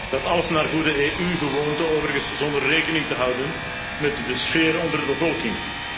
Dat alles naar goede EU gewoonte overigens, zonder rekening te houden met de sfeer onder de bevolking.